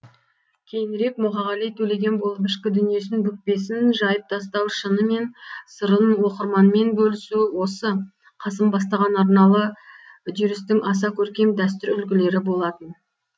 кейінірек мұқағали төлеген болып ішкі дүниесін бүкпесін жайып тастау шыны мен сырын оқырманмен бөлісу осы қасым бастаған арналы үдерістің аса көркем дәстүр үлгілері болатын